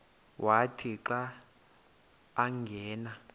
wathi xa angena